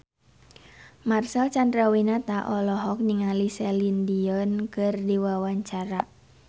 Marcel Chandrawinata olohok ningali Celine Dion keur diwawancara